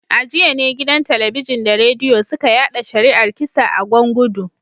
A jiya ne gidan Talabijin da Rediyo suka yada shari’ar kisa a Gwan gudu